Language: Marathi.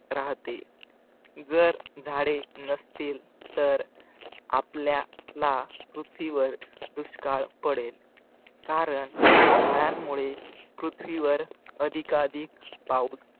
राहते जर झाडे नसतील तर आपल्या ला पृथ्वीवर दुष्काळ पडेल कारण झाडांमुळे पृथ्वीवर अधिकाअधिक पाऊस